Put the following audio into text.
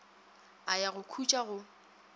a ya go khutša go